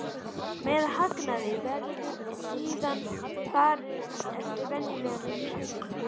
Með hagnaðinn verður síðan að fara eftir venjulegum reglum.